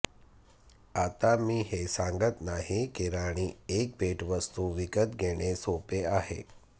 आता मी हे सांगत नाही की राणी एक भेटवस्तू विकत घेणे सोपे आहे